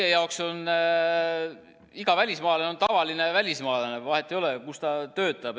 Meie jaoks on iga välismaalane tavaline välismaalane, vahet ei ole, kus ta töötab.